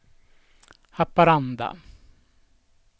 Haparanda